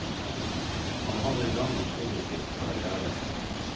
Han hadde en lang og produktiv karrière.